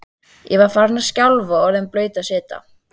Ég var farin að skjálfa og orðin blaut af svita.